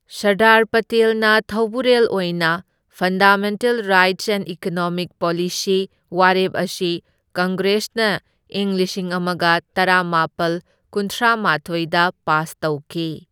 ꯁꯔꯗꯥꯔ ꯄꯇꯦꯜꯅ ꯊꯧꯕꯨꯔꯦꯜ ꯑꯣꯢꯅ, fundamental rights and economic policy ꯋꯥꯔꯦꯞ ꯑꯁꯤ ꯀꯪꯒ꯭ꯔꯦꯁꯅ ꯏꯪ ꯂꯤꯁꯤꯡ ꯑꯃꯒ ꯇꯔꯥꯃꯥꯄꯜ ꯀꯨꯟꯊ꯭ꯔꯥꯃꯥꯊꯣꯢꯗ ꯄꯥꯁ ꯇꯧꯈꯤ꯫